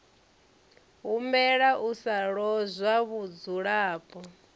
humbela u sa lozwa vhudzulapo